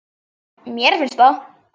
Mér finnst það.